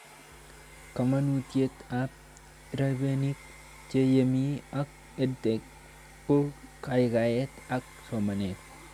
Kamanutiet ab rabinik che yemei ak EdTech ko kaikaiet ak somanet